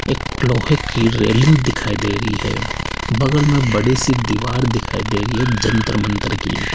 एक लोहे की रेलिंग दिखाई दे रही है बगल मे बड़ी सी दीवार दिखाई दे रही है जंतर मंतर की --